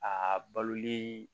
A baloli